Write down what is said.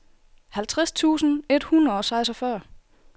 halvtreds tusind et hundrede og seksogfyrre